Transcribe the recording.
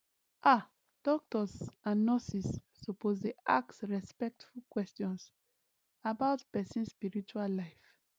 ah doctors and nurses suppose dey ask respectful questions about person spiritual life